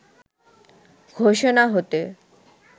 ঘোষণা হতে